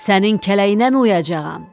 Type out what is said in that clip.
Sənin kələyinəmi uyacağam?